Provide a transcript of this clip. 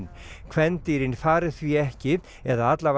kvendýrin fari því ekki eða